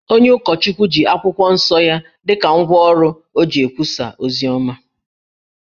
Onye ụkọchukwu ji akwụkwọ nsọ ya dị ka ngwa ọrụ o ji ekwusa oziọma